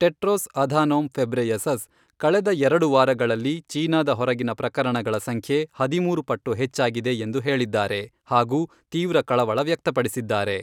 Tedros Adhanom Ghebreyesus ಕಳೆದ ಎರಡು ವಾರಗಳಲ್ಲಿ ಚೀನಾದ ಹೊರಗಿನ ಪ್ರಕರಣಗಳ ಸಂಖ್ಯೆ ಹದಿಮೂರು ಪಟ್ಟು ಹೆಚ್ಚಾಗಿದೆ ಎಂದು ಹೇಳಿದ್ದಾರೆ ಹಾಗೂ ತೀವ್ರ ಕಳವಳ ವ್ಯಕ್ತಪಡಿಸಿದ್ದಾರೆ.